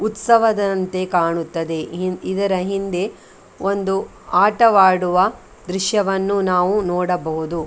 ಉತ್ಸವದಂತೆ ಕಾಣುತ್ತದೆ ಹಿಂ ಇದರ ಹಿಂದೆ ಒಂದು ಆಟವಾಡುವ ದೃಶ್ಯವನ್ನು ನಾವು ನೋಡಬಹುದು .